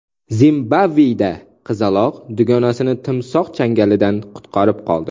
Zimbabveda qizaloq dugonasini timsoh changalidan qutqarib qoldi.